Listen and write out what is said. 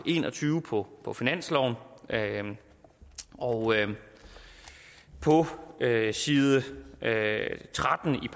en og tyve på på finansloven og på side tretten i